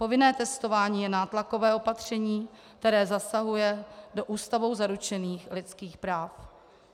Povinné testování je nátlakové opatření, které zasahuje do Ústavou zaručených lidských práv.